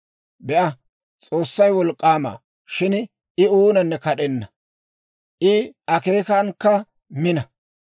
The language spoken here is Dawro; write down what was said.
«Be'a, S'oossay wolk'k'aama; shin I oonanne kad'enna. I akeekankka mina.